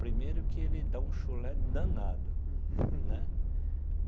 Primeiro que ele dá um chulé danado, né?